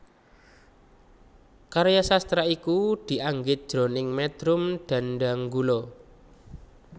Karya sastra iki dianggit jroning métrum dhandhanggula